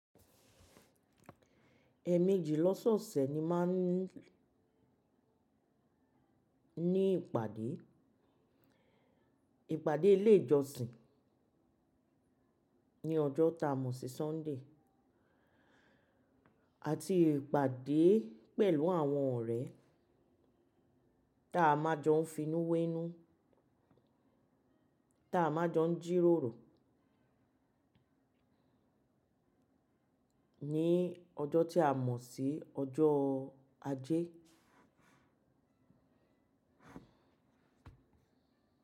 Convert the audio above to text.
Ẹ̀ẹ̀mejì lọ́sọ̀ọ̀sẹ̀ mo máa ń ní ìpàdé. Ìpàdé ilé ìjọsìn ní ọjọ́ ta mọ̀ sí Sunday àti ìpàdé pẹ̀lú àwọn ọ̀rẹ́ ta a máa jọ ń finú wénú, ta a máa jọ ń jíròrò ní ọjọ́ tí a mọ̀ sí ọjọ́ ajé.